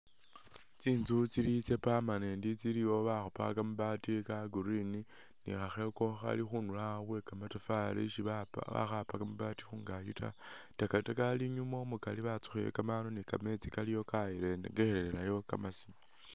Tsinzu tsili tsa'pamanent tsilyawo bakhupa kamabaati ka'green ni khakheko Khali khunulo khekamatafali ishibapa bakhapa kamabaati khungaakyi taa takataka alinyuma umukaali batsukhayo kamandu ni kameetsi kaliyo kayirengekhelayo kama...